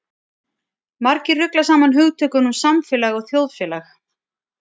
Margir rugla saman hugtökunum samfélag og þjóðfélag.